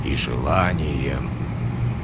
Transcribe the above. и желанием